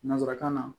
Nansarakan na